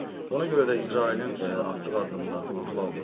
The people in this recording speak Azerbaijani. Ona görə də İsrailin atdığı addımlar uğurlu alınıb.